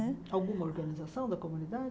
Né alguma organização da comunidade?